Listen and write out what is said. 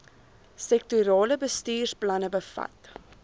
sektorale bestuursplanne bevat